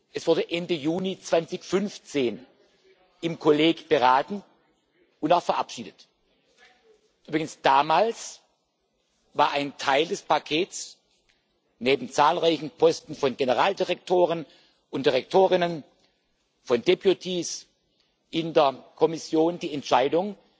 Es wurde Ende Juni 2015 im Kollegium beraten und auch verabschiedet. Übrigens war damals ein Teil des Pakets neben zahlreichen Posten von Generaldirektoren und Direktorinnen, von deputies in der Kommission, die Entscheidung,